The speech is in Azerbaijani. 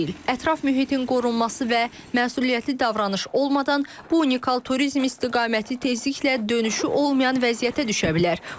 Ətraf mühitin qorunması və məsuliyyətli davranış olmadan bu unikal turizm istiqaməti tezliklə dönüşü olmayan vəziyyətə düşə bilər.